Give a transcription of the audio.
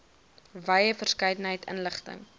wye verskeidenheid inligting